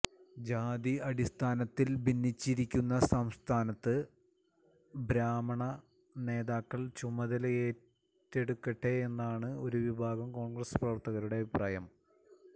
ജാതി അടിസ്ഥാനത്തില് ഭിന്നിച്ചിരിക്കുന്ന സംസ്ഥാനത്ത് ബ്രാഹ്മണ നേതാക്കള് ചുമതലയേറ്റെടുക്കട്ടെയെന്നാണ് ഒരു വിഭാഗം കോണ്ഗ്രസ് പ്രവര്ത്തകരുടെ അഭിപ്രായം